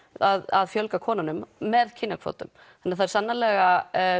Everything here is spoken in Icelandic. að fjölga konunum með kynjakvótum þannig það eru sannarlega